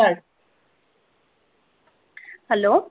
Hello